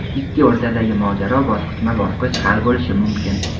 ikki o‘rtadagi mojaro bosqichma-bosqich hal bo‘lishi mumkin.